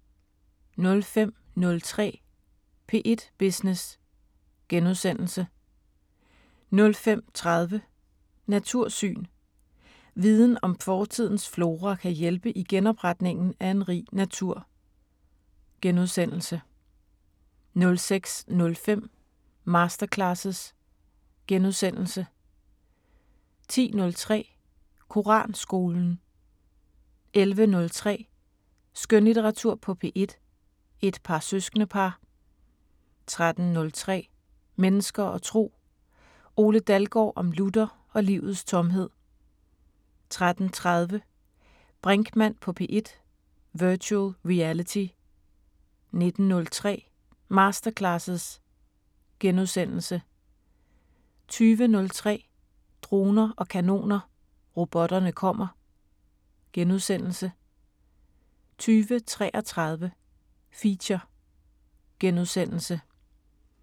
05:03: P1 Business * 05:30: Natursyn: Viden om fortidens flora kan hjælpe i genopretningen af en rig natur * 06:05: Masterclasses * 10:03: Koranskolen 11:03: Skønlitteratur på P1: Et par søskendepar 13:03: Mennesker og Tro: Ole Dalgaard om Luther og livets tomhed 13:30: Brinkmann på P1: Virtual Reality 19:03: Masterclasses * 20:03: Droner og kanoner: Robotterne kommer * 20:33: Feature *